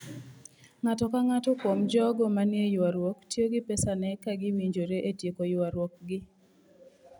Ng'ato ka ng'ato kuom jogo manie ywaruok tiyo gi pesane ka gi winjore etieko ywaruok gi.